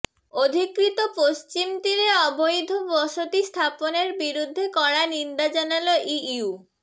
অধিকৃত পশ্চিম তীরে অবৈধ বসতি স্থাপনের বিরুদ্ধে কড়া নিন্দা জানাল ইইউ